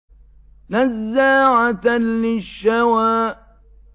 نَزَّاعَةً لِّلشَّوَىٰ